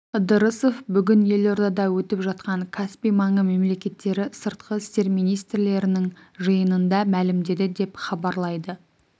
ыдырысов бүгін елордада өтіп жатқан каспий маңы мемлекеттері сыртқы істер министрлерінің жиынында мәлімдеді деп хабарлайды